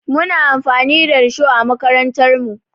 Muna amfani da risho a makarantarmu.